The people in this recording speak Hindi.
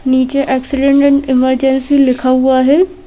नीचे एक्सीडेंट एन्ड इमरजेंसी लिखा हुआ है।